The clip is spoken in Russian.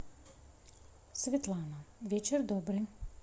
светлана вечер добрый